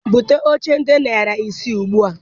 Bute oche dị narị ise ugbua!